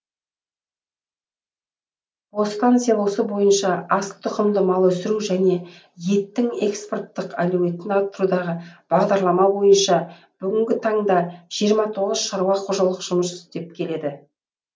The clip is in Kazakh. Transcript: бостан селосы бойынша асыл тұқымды мал өсіру және еттің экспорттық әлеуетін арттырудағы бағдарлама бойынша бүгінгі таңда жиырма тоғыз шаруа қожалық жұмыс істеп келеді